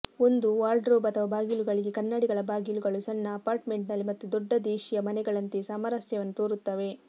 ಒಂದು ವಾರ್ಡ್ರೋಬ್ ಅಥವಾ ಬಾಗಿಲುಗಳಿಗೆ ಕನ್ನಡಿಗಳ ಬಾಗಿಲುಗಳು ಸಣ್ಣ ಅಪಾರ್ಟ್ಮೆಂಟ್ನಲ್ಲಿ ಮತ್ತು ದೊಡ್ಡ ದೇಶೀಯ ಮನೆಗಳಂತೆ ಸಾಮರಸ್ಯವನ್ನು ತೋರುತ್ತವೆ